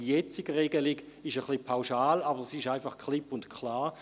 Die jetzige Regelung ist etwas pauschal, aber sie ist klipp und klar.